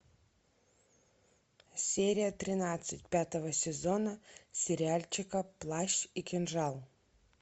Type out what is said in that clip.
серия тринадцать пятого сезона сериальчика плащ и кинжал